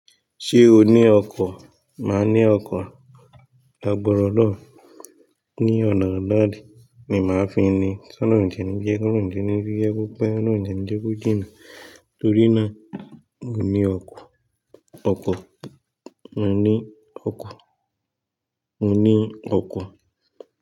Ṣé o ní ọkọ? Maa ni oko lagbara olorun, ni ona nla ni maa fi ni tán ń rìn jẹ níbí, kúrùn jẹ níbí, yè kó pẹ́, rùn jẹ níbí kú jìnnà. Torí náà, mo ní ọkọ, ọkọ, mo ní ọkọ, mo ní ọkọ.